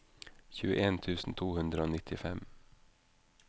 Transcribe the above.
tjueen tusen to hundre og nittifem